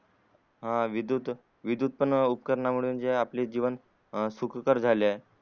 उपकरणातून आपले जीवन अं सुखकर झाले आहे